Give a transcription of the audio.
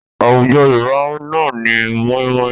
Àwùjọ Yorùbá náà ní mọ́ímọ́í